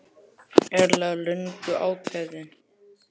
Erla: Löngu ákveðinn?